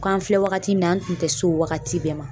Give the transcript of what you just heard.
K'an filɛ wagati min na an kun tɛ s'o wagati bɛɛ ma.